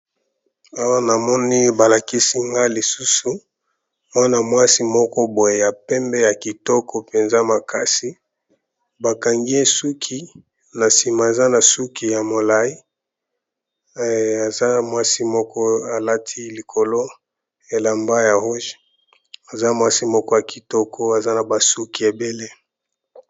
awa namoni balakisi nga lisusu wana mwasi moko boye ya pembe ya kitoko mpenza makasi bakangi esuki na sima eza na suki ya molai aza mwasi moko alati likolo elamba ya motane aza mwasi moko ya kitoko aza na basuki ebele